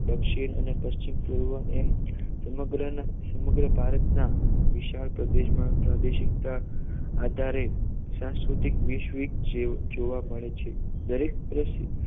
દક્ષિણ અને પશ્ચિમ અને પૂર્વ એમ સમગ્ર સમગ્ર ભારતના વિશાળ પ્રદેશમાં પ્રાદેશિકતા આધારે સાંસ્કૃતિક વૈશ્વિક જોવા મળે છે દરેક પ્રદે